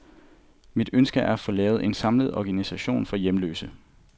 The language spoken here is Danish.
Mit ønske er at få lavet en samlet organisation for hjemløse.